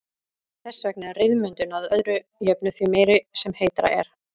Þess vegna er ryðmyndun að öðru jöfnu því meiri sem heitara er.